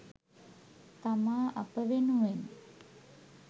තමා අප වෙනුවෙන්